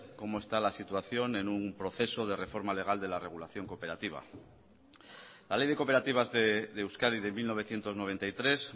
cómo está la situación en un proceso de reforma legal de la regulación cooperativa la ley de cooperativas de euskadi de mil novecientos noventa y tres